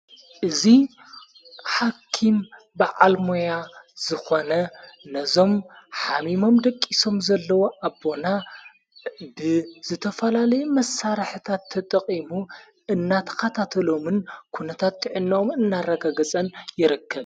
እዙይ ሓኪም ብዓልሞያ ዝኾነ ነዞም ኃሚሞም ደቂሶም ዘለዉ ኣቦና ብዝተፈላለይ መሣራሕታት ተጠቐሙ እናታኻታተሎምን ኲነታት ጥዕነዎም እናረጋገጸን ይርከብ።